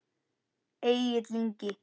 Egill Ingi.